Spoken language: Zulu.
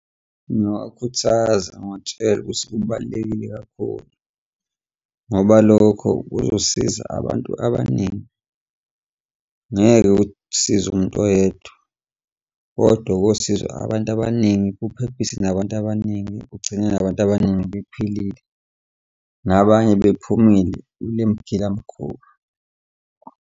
Ngingawakhuthaza ngiwatshele ukuthi kubalulekile kakhulu, ngoba lokho kuzosiza abantu abaningi, ngeke kusize umuntu oyedwa, kodwa kosizo abantu abaningi kuphephise nabantu abaningi kugcine nabantu abaningi bephilile nabanye bephumile kule mgilamikhuba.